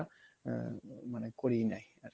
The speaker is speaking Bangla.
আ~ মানে করিয়ে নেয় আরকি